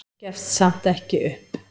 Gefst samt ekki upp.